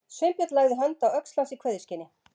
Sveinbjörn lagði hönd á öxl hans í kveðjuskyni.